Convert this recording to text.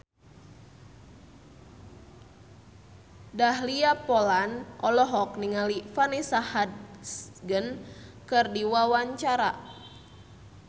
Dahlia Poland olohok ningali Vanessa Hudgens keur diwawancara